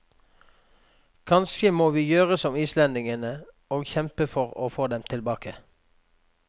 Kanskje må vi gjøre som islendingene og kjempe for å få dem tilbake.